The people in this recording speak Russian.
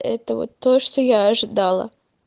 это вот то что я ожидала